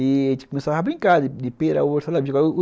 E a gente começava a brincar de pera, uva e salada mista.